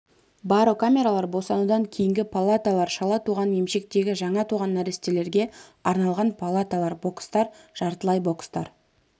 барокамералар босанудан кейінгі палаталар шала туған емшектегі жаңа туған нәрестелерге арналған палаталар бокстар жартылай бокстар